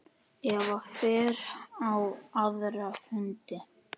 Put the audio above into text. Eva fer á aðra fundi.